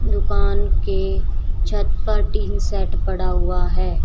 दुकान के छत पर टीन सेट पड़ा हुआ है।